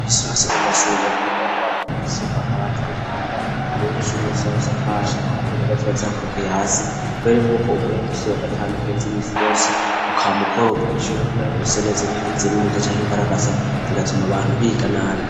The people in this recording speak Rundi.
Imisi yose mu mashuri birakenerwa ko bamubwire isuku akaba atar'umwanda mu nyisuri ya sohose atashaka ko uburingwo cibacakorokeye hasi bere nk'uko umunsi wagatanu bez' imisi yose ukamukoropa ishure kugira ngo rise netse ntiritze mwinda cyanko'imbaragasa rigatuma abantu biga nabi.